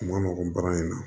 Kuma nɔgɔn bagan in na